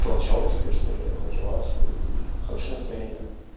толчок тебе что-ли мотивацию и хорошее настроение